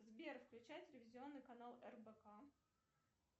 сбер включай телевизионный канал рбк